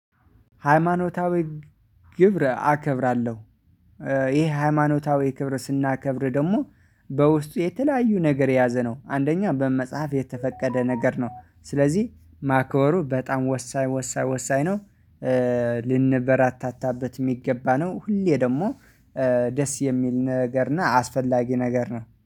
ሃይማኖታዊ ክብር አከብራለሁ። ይሄ ሃይማኖታዊ ክብር ስናከብር ደግሞ በውስጡ የተለያዩ ነገር የያዘ ነው። አንደኛ በመጽሐፍ የተፈቀደ ነገር ነው። ስለዚህ ማክበሩ በጣም ወሳኝ ወሳኝ ወሳኝ ነው። ልንበራታታበት የሚገባ ነው። ሁሌ ደግሞ ደስ የሚል ነገር እና አስፈላጊ ነገር ነው